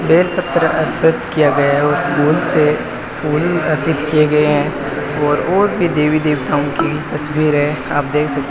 बेलपत्र अर्पित किया गया है उस फूल से फूल अर्पित किए गए हैं और और भी देवी देवताओं की तस्वीर है आप देख सकते --